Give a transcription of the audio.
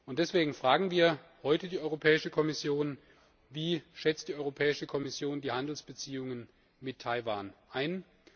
Deswegen fragen wir heute die Europäische Kommission Wie schätzt die Kommission die Handelsbeziehungen mit Taiwan ein?